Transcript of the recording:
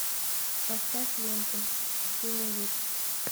поставь ленту синевир